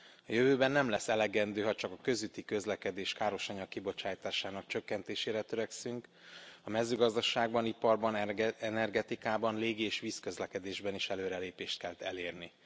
A jövőben nem lesz elegendő, ha csak a közúti közlekedés károsanyag kibocsátásának csökkentésére törekszünk, a mezőgazdaságban, iparban, energetikában, légi és vízközlekedésben is előrelépést kell elérni.